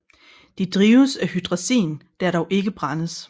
De drives af hydrazin der dog ikke brændes